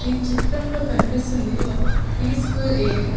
ఈ చిత్రంలో కనిపిస్తుంది ఒక పీస్ఫుల్ ఏరియా .